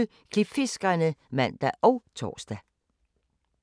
23:20: Klipfiskerne (man og tor)